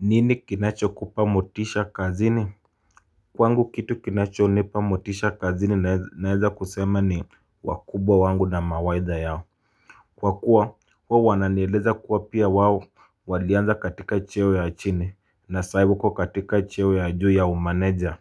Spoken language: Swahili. Nini kinacho kupa motisha kazini? Kwangu kitu kinacho unipamotisha kazini naeza kusema ni wakubwa wangu na mawaidha yao Kwakuwa huo wananeleza kuwa pia wawo walianza katika chewe ya chini na saibuko katika chewe ya juu ya umaneja